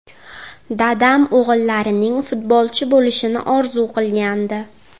Dadam o‘g‘illarining futbolchi bo‘lishini orzu qilgandi.